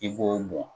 I b'o mɔ